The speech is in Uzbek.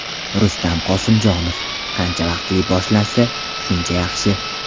Rustam Qosimjonov: Qancha vaqtli boshlansa, shuncha yaxshi.